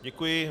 Děkuji.